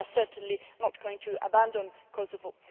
We are certainly not going to abandon Kosovo.